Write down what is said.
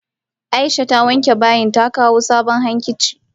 Aisha ta wanke bayin ta kawo sabon hankici.